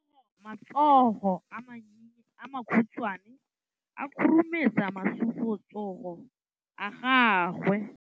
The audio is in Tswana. Matsogo a makhutshwane a khurumetsa masufutsogo a gago.